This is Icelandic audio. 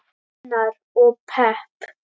Unnar: Og pepp.